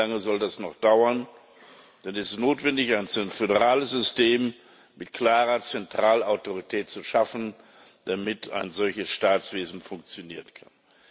Wie lange soll das noch dauern? Dann ist notwendig, ein föderales System mit klarer Zentralautorität zu schaffen, damit ein solches Staatswesen funktionieren kann.